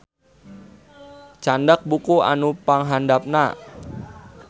Candak buku anu panghandapna